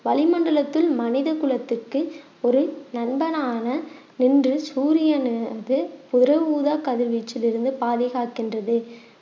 வளிமண்டலத்தில் மனித குலத்துக்கு ஒரு நண்பனான நின்று சூரியன் அது புற ஊதா கதிர்வீச்சிலிருந்து பாதுகாக்கின்றது